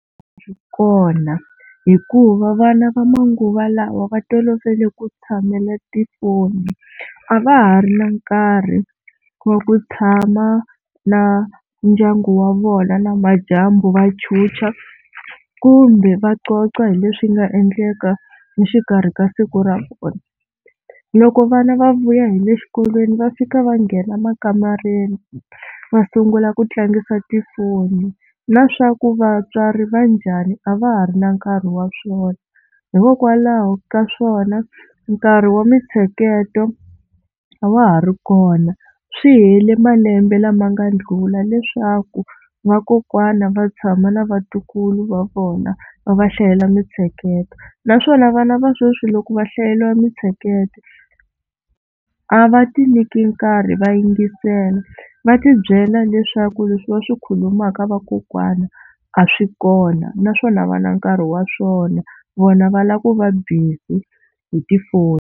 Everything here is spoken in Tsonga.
A swi kona hikuva vana va manguva lawa va tolovele ku tshamela tifoni a va ha ri na nkarhi wa ku tshama na ndyangu wa vona namadyambu va chucha kumbe va xoxa hi leswi nga endleka exikarhi ka siku ra kona. Loko vana va vuya hi le xikolweni va fika va nghena emakamareni va sungula ku tlangisa tifoni na swa ku vatswari va njhani a va ha ri na nkarhi wa swona. Hikokwalaho ka swona nkarhi wa mintsheketo a wa ha ri kona swi hele malembe lama nga ndlula leswaku vakokwana va tshama na vatukulu va vona va va hlayela mintsheketo naswona vana va sweswi loko va hlayeriwa mitsheketo a va ti nyiki nkarhi va yingisela va tibyela leswaku leswi va swi khulumaka vakokwana a swi kona naswona a va na nkarhi wa swona vona va lava ku va busy hi tifoni.